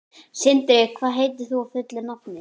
Sindri, hvað heitir þú fullu nafni?